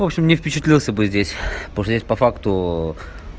в общем не впечатлился бы здесь потому что здесь по факту